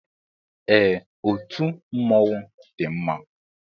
Ee, otú mmọnwụ dị mma